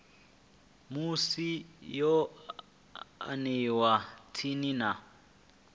musi yo aniwa tsini na